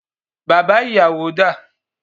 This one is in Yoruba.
Bàbá ìyàwó dá à?